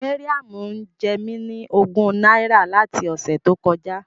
Mariam ń jẹ mí ní ogún náírà láti ọ̀sẹ̀ tó kọjá.